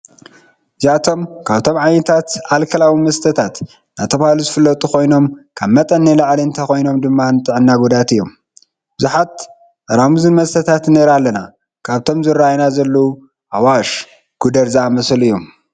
እዝይኣቶም ካብቶም ዓይነታት ኣልከላዊ መስተታት እናተባህሉ ዝፍለጡ ኮይኖም ካብ መጠን ንላዕሊ እንተኮይኖም ድማ ንጥዕና ጎዳኢቲ እዮም። ብዙሓት ጠራሙዝን መስተታት ንርኢ ኣለና። ካብቶም ንርእዮም ዘለና ኣዋሽ፣ ጉደር ዝኣመሰሉ እዮም።